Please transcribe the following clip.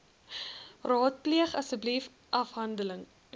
raadpleeg asseblief afdeling